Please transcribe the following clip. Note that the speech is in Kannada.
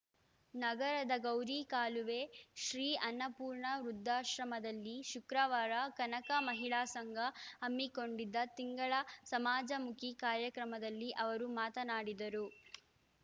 ನಗರದ ಗೌರಿಕಾಲುವೆ ಶ್ರೀ ಅನ್ನಪೂರ್ಣ ವೃದ್ಧಾಶ್ರಮದಲ್ಲಿ ಶುಕ್ರವಾರ ಕನಕ ಮಹಿಳಾ ಸಂಘ ಹಮ್ಮಿಕೊಂಡಿದ್ದ ತಿಂಗಳ ಸಮಾಜಮುಖಿ ಕಾರ್ಯಕ್ರಮದಲ್ಲಿ ಅವರು ಮಾತನಾಡಿದರು